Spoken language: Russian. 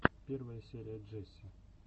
первая часть джесси